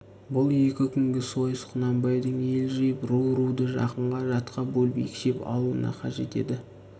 бұл екі күнгі сойыс құнанбайдың ел жиып ру-руды жақынға жатқа бөліп екшеп алуына қажет еді